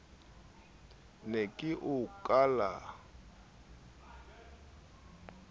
ne ke o kala kelello